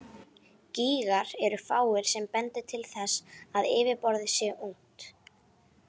Gígar eru fáir sem bendir til þess að yfirborðið sé ungt.